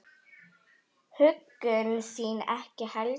Huggun þín ekki heldur.